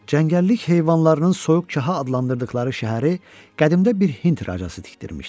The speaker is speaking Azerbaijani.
Cəngəllik heyvanlarının soyuqçaha adlandırdıqları şəhəri qədimdə bir Hind racası tikdirmişdi.